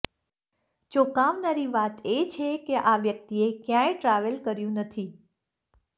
ચોકાવનારી વાત એ છે કે આ વ્યક્તિએ ક્યાય ટ્રાવેલ કર્યું નથી